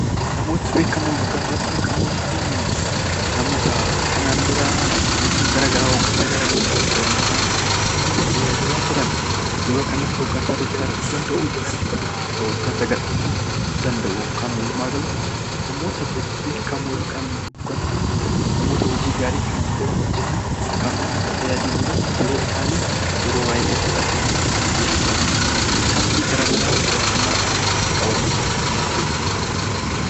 Namoota beekamoo yookaan hooggantoota beekamoo jechuun namoota kanaan dura bulchiinsa garaagaraa yookaan hooggansa uummata tajaajilaa turan, yeroo kanatti aangoo irra jiraachuu danda'u, dhiisuu danda'u hooggansa kan danda'u yookaan namoota bebbeekamoo yookaan namoota hojii gaarii kana dura hojjetan kan uummata tajaajiluu isaanii irratti yeroo baayyee fudhatamu beekamtii uummata irraa qaban namoota beekamoodha.